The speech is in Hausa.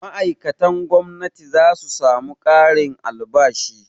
Ma'aikatan gwamnati za su samu ƙarin albashi.